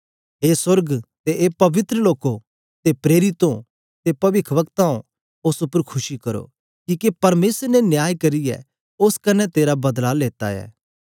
ए सोर्ग ते ए पवित्र लोको ते प्रेरितो ते पविखवक्ताओ उस्स उपर खुशी करो किके परमेसर ने न्याय करियें उस्स कन्ने तेरा बदला लेता ऐ